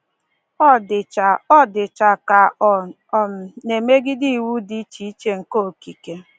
Ọ dịcha Ọ dịcha ka ọ um na-emegide iwu dị iche iche nke okike.